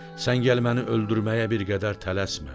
Sən gəl məni öldürməyə bir qədər tələsmə.